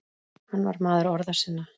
Hann var maður orða sinna.